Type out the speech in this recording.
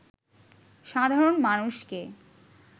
সাধারণ মানুষকে